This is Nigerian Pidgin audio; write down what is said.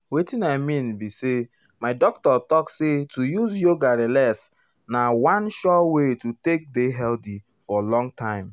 wetin i mean be um say my doctor talk um say to use yoga relax na one sure wey to take dey healthy for long time.